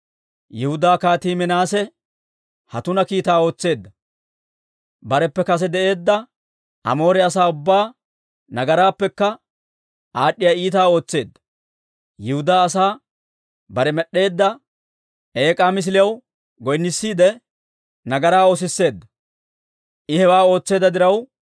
«Yihudaa Kaatii Minaase ha tuna kiitaa ootseedda; bareppe kase de'eedda Amoore asaa ubbaa nagaraappekka aad'd'iyaa iitaa ootseedda; Yihudaa asaa bare med'd'eedda eek'aa misiliyaw goynnissiide, nagaraa oosisseedda. I hewaa ootseedda diraw,